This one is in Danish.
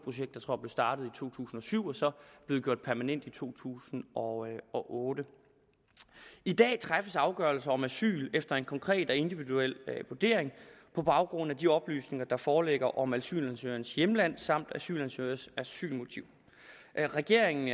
startet i to tusind og syv og så blev det gjort permanent i to tusind og og otte i dag træffes afgørelser om asyl efter en konkret og individuel vurdering på baggrund af de oplysninger der foreligger om asylansøgerens hjemland samt asylansøgerens asylmotiv regeringen